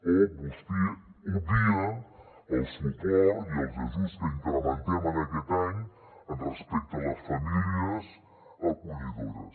o vostè obvia el suport i els ajuts que incrementem en aquest any respecte a les famílies acollidores